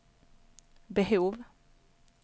behov